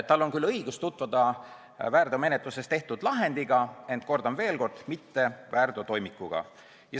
Tal on küll õigus tutvuda väärteomenetluses tehtud lahendiga, ent, kordan veel, mitte väärteotoimikuga.